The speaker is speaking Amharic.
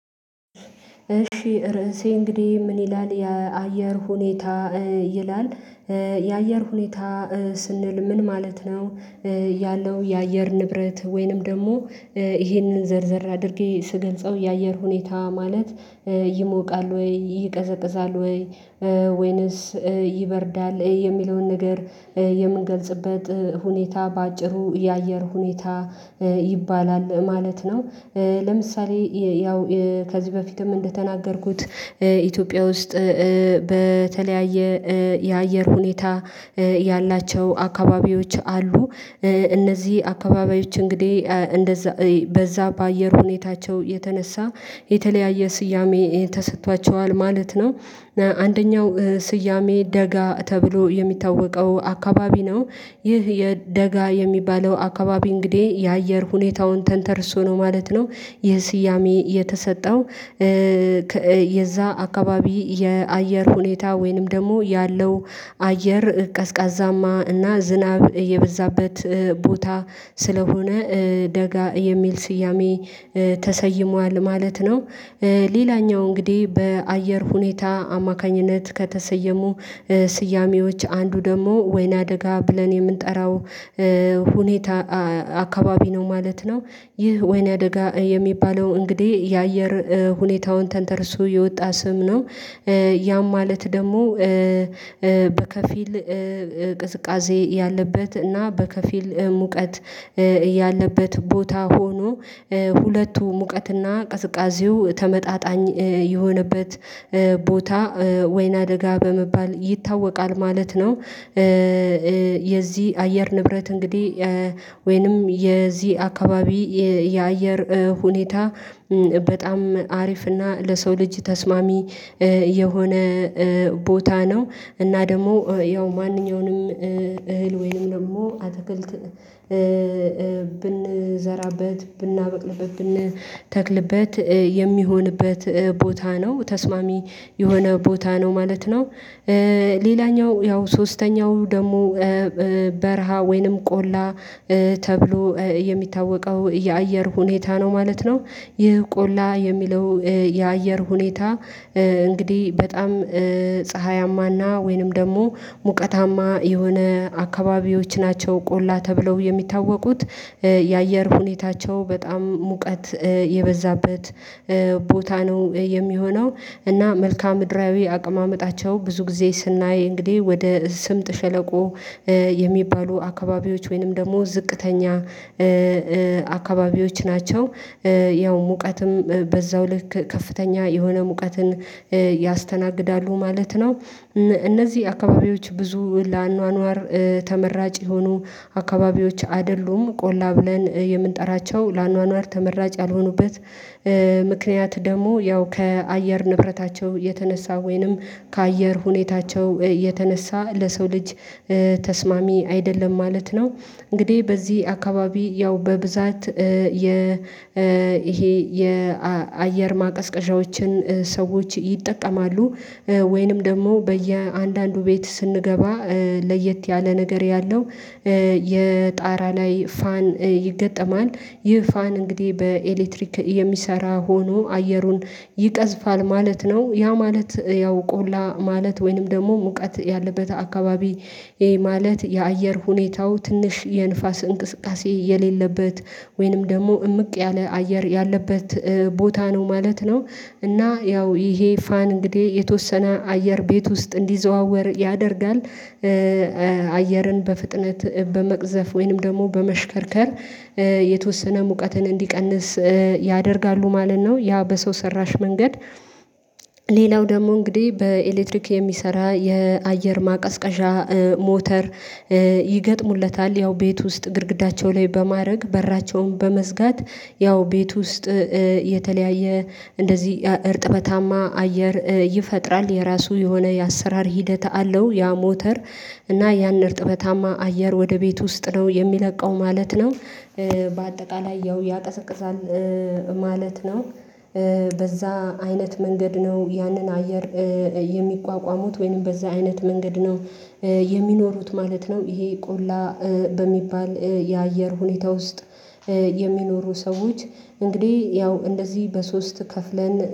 እሺ ርዕሴ እንግዲህ ምን ይላል የአየር ሁኔታ ይላል። የአየር ሁኔታ ስንል ምን ማለት ነው ያለው የአየር ንብረት ወይንም ደግሞ ይሄንን ዘርዘር አድርጌ ስገልጸው የአየር ሁኔታ ማለት ይሞቃል ወይ ይቀዘቅዛል ወይ ወይንስ ይበርዳል የሚለውን ነገር የምንገልጽበት ሁኔታ በአጭሩ የአየር ሁኔታ ይባላል ማለት ነው ለምሳሌ ያው ከዚህ በፊትም እንደተናገርኩት ኢትዮጵያ ውስጥ በተለያየ የአየር ሁኔታ ያላቸው አካባቢዎች አሉ እነዚህ አካባቢዎች እንግዲህ እንደዛ በዛ በአየር ሁኔታቸው የተነሳ የተለያየ ስያሜ ተሰጥቷቸዋል ማለት ነው አንደኛው ስያሜ ደጋ ተብሎ የሚታወቀው አካባቢ ነው ይህ የደጋ የሚባለው አካባቢ እንግዲህ የአየር ሁኔታውን ተንተርሶ ነው ማለት ነው ይሄ ስያሜ የተሰጠው የዛ አካባቢ የአየር ሁኔታ ወይንም ደግሞ ያለው አየር ቀዝቃዛማ እና ዝናብ እየበዛበት ቦታ ስለሆነ ደጋ የሚል ስያሜ ተሰይሟል ማለት ነው ሌላኛው እንግዲህ በአየር ሁኔታ አማካኝነት ከተሰየሙ ስያሜዎች አንዱ ደግሞ ወይና ደጋ ብለን የምንጠራው ሁኔታ አካባቢ ነው ማለት ነው ይህ ወይና ደጋ የሚባለው እንግዲህ የአየር ሁኔታውን ተንተርሶ የወጣ ስም ነው ያም ማለት ደግሞ በከፊል ቅዝቃዜ ያለበት እና በከፊል ሙቀት ያለበት ቦታ ሆኖ ሁለቱ ሙቀትና ቅዝቃዜው ተመጣጣኝ የሆነበት ቦታ ወይና ደጋ በመባል ይታወቃል ማለት ነው የዚህ አየር ንብረት እንግዲህ ወይንም የዚህ አካባቢ የአየር ሁኔታ በጣም አሪፍና ለሰው ልጅ ተስማሚ የሆነ ቦታ ነው እና ደግሞ ያው ማንኛውንም እህል ወይንም ደግሞ አትክልት ብንዘራበት ብናበቅልበት ብንተክልበት የሚሆንበት ቦታ ነው ተስማሚ የሆነ ቦታ ነው ማለት ነው ሌላኛው ያው ሶስተኛው ደግሞ በረሃ ወይንም ቆላ ተብሎ የሚታወቀው የአየር ሁኔታ ነው ማለት ነው ይህ ቆላ የሚለው የአየር ሁኔታ እንግዲህ በጣም ፀሀያማና ወይንም ደግሞ ሙቀታማ የሆነ አካባቢዎች ናቸው ቆላ ተብለው የሚታወቁት የአየር ሁኔታቸው በጣም ሙቀት የበዛበት ቦታ ነው የሚሆነው እና መልካም ምድራዊ አቀማመጣቸው ብዙ ጊዜ ስናይ እንግዲህ ወደ ስምጥ ሸለቆ የሚባሉ አካባቢዎች ወይንም ደግሞ ዝቅተኛ አካባቢዎች ናቸው ያው ሙቀትም በዛው ልክ ከፍተኛ የሆነ ሙቀትን ያስተናግዳሉ ማለት ነው እነ እነዚህ አካባቢዎች ብዙ ለአኗኗር ተመራጭ የሆኑ አካባቢዎች አይደሉም ቆላ ብለን የምንጠራቸው ለአኗኗር ተመራጭ ያልሆኑበት ምክንያት ደግሞ ያው ከአየር ንብረታቸው የተነሳ ወይንም ከአየር ሁኔታቸው የተነሳ ለሰው ልጅ ተስማሚ አይደለም ማለት ነው እንግዲህ በዚህ አካባቢ ያው በብዛት የ ይሄ የአየር ማቀዝቀዣዎችን ሰዎች ይጠቀማሉ ወይንም ደግሞ በየአንዳንዱ ቤት ስንገባ ለየት ያለ ነገር ያለው የጣራ ላይ ፋን ይገጠማል ይህ ፋን እንግዲህ በኤሌክትሪክ የሚሰራ ሆኖ አየሩን ይቀዝፋል ማለት ነው ያ ማለት ያው ቆላ ማለት ወይንም ደግሞ ሙቀት ያለበት አካባቢ ይሄ ማለት የአየር ሁኔታው ትንሽ የንፋስ እንቅስቃሴ የሌለበት ወይንም ደግሞ እምቅ ያለ አየር ያለበት ቦታ ነው ማለት ነው እና ያው ይሄ ፋን እንግዲህ የተወሰነ አየር ቤት ውስጥ እንዲዘዋወር ያደርጋል አየርን በፍጥነት በመቅዘፍ ወይንም ደግሞ በመሽከርከር የተወሰነ ሙቀትን እንዲቀንስ ያደርጋሉ ማለት ነው ያ በሰው ሰራሽ መንገድ ሌላው ደግሞ እንግዲህ በኤሌክትሪክ የሚሰራ የአየር ማቀዝቀዣ ሞተር ይገጥሙለታል ያው ቤት ውስጥ ግድግዳቸው ላይ በማረግ በራቸውን በመዝጋት ያው ቤት ውስጥ የተለያየ እንደዚህ እርጥበታማ አየር ይፈጥራል የራሱ የሆነ የአሰራር ሂደት አለው ያ ሞተር እና ያን እርጥበታማ አየር ወደ ቤት ውስጥ ነው የሚለቀው ማለት ነው በአጠቃላይ ያው ያቀዘቅዛል ማለት ነው በዛ አይነት መንገድ ነው ያንን አየር የሚቋቋሙት ወይንም በዛ አይነት መንገድ ነው የሚኖሩት ማለት ነው ይሄ ቆላ በሚባል የአየር ሁኔታ ውስጥ የሚኖሩ ሰዎች እንግዲህ ያው እንደዚህ በሶስት ከፍለን